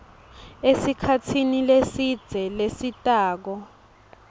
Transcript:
esikhatsini lesidze lesitako